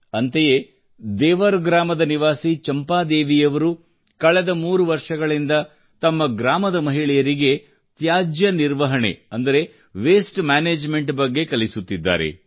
ಅಂತೆಯೇ ದೇವರ್ ಗ್ರಾಮದ ನಿವಾಸಿ ಚಂಪಾದೇವಿಯವರು ಕಳೆದ ಮೂರು ವರ್ಷಗಳಿಂದ ತಮ್ಮ ಗ್ರಾಮದ ಮಹಿಳೆಯರಿಗೆ ತ್ಯಾಜ್ಯ ನಿರ್ವಹಣೆ ಅಂದರೆ ವಾಸ್ಟೆ ಮ್ಯಾನೇಜ್ಮೆಂಟ್ ಬಗ್ಗೆ ಕಲಿಸುತ್ತಿದ್ದಾರೆ